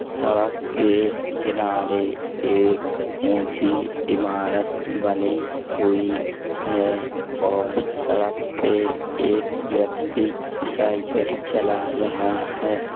सड़क के किनारे एक ऊंची इमारत बनी हुई है और सड़क पे एक व्यक्ति साइकिल चला रहा है।